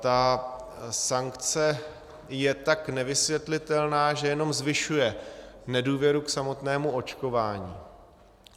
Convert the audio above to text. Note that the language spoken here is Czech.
Ta sankce je tak nevysvětlitelná, že jenom zvyšuje nedůvěru k samotnému očkování.